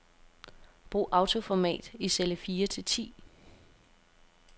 Brug autoformat i celle fire til ti.